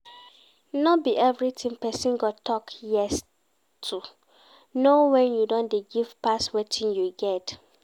No be everything person go talk yes to, know when you don dey give pass wetin you get